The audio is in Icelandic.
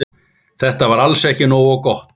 Þetta var alls ekki nógu gott.